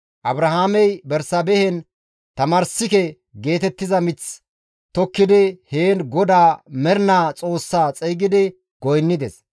Abrahaamey Bersaabehen Tamarssike geetettiza mith tokkidi heen GODAA Mernaa Xoossa xeygidi goynnides.